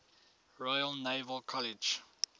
royal naval college